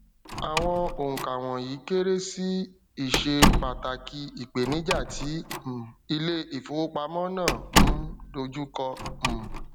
àwọn oùnkà wọnyíí kéré sí ìṣe pàtàkì ìpèníjà tí um ilé ìfowópamọ náà ń dojú kọ um